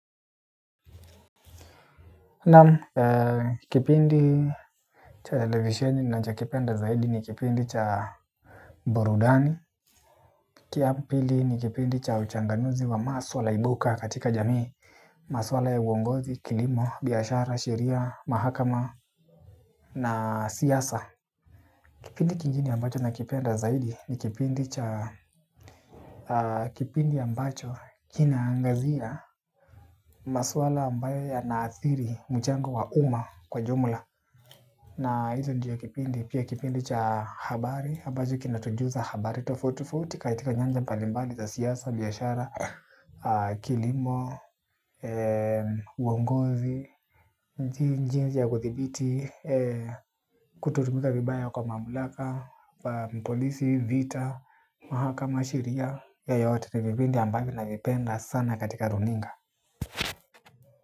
Nam, kipindi cha televisheni ninacho kipenda zaidi ni kipindi cha burudani. Kiampili ni kipindi cha uchanganuzi wa maswala ibuka katika jamii. Maswala ya uongozi, kilimo, biashara, sheria, mahakama na siasa. Kipindi kingine ambacho nakipenda zaidi ni kipindi cha kipindi ambacho kinaangazia maswala ambayo yana athiri mchango wa uma kwa jumla. Na hizo ndio kipindi, pia kipindi cha habari ambacho kinatujuza habari tofauti tofauti. Katika nyanja mbalimbali za siasa, biashara, kilimo, uongozi. Nchi njia ya kudhibiti, kutotumiza vibaya kwa mamlaka mpolisi, vita, mahakama, sheria ya yote ni vipindi ambavyo navipenda sana katika runinga.